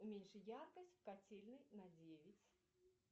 уменьши яркость в котельной на девять